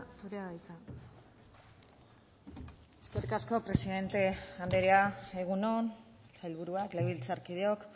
zurea da hitza eskerrik asko presidente andrea egun on sailburuak legebiltzarkideok